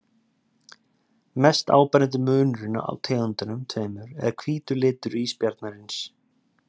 Mest áberandi munurinn á tegundunum tveimur er hvítur litur ísbjarnarins.